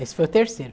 Esse foi o terceiro.